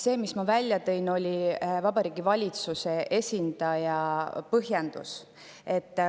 See, mille ma välja tõin, oli Vabariigi Valitsuse esindaja põhjendus.